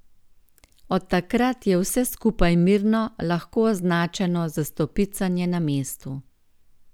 Od takrat je vse skupaj mirno lahko označeno za stopicanje na mestu.